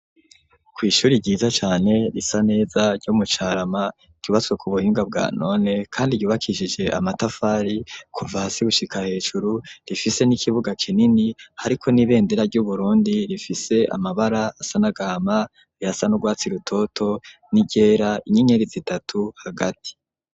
Kw'ishuri ryiza cane risa neza ryo mu Carama, ryubatswe ku buhinga bwa none, kandi ryubakishije amatafari kuva hasi gushika hejuru, rifise n'ikibuga kinini hariko n'ibendera ry'Uburundi, rifise amabara asa n'agahama, ayasa n'urwatsi rutoto n'iryera; inyenyeri zitatu hagati.